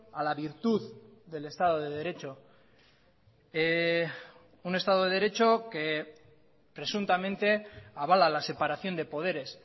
a la virtud del estado de derecho un estado de derecho que presuntamente avala la separación de poderes